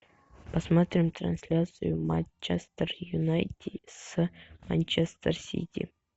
посмотрим трансляцию матча манчестер юнайтед с манчестер сити